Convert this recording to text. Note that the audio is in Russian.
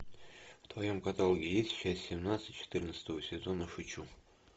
в твоем каталоге есть часть семнадцать четырнадцатого сезона шучу